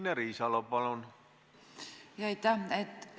Aitäh!